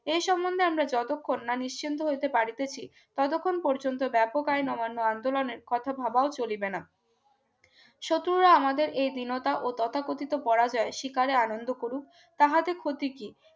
এই সম্বন্ধে আমরা যতক্ষণ না নিশ্চিন্ত হইতে পারিতেছি ততক্ষণ পর্যন্ত ব্যাপক আইন অমান্য আন্দোলনের কথাও ভাবাও চলিবে না শত্রুরা আমাদের এই বিনতা ও তথাকথিত পরাজয় শিকারের আনন্দ করুক তাতে ক্ষতি কি